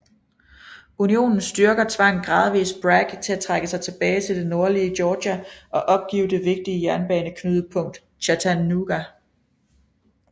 Unionens styrker tvang gradvist Bragg til at trække sig tilbage til det nordlige Georgia og opgive det vigtige jernbaneknudepunkt Chattanooga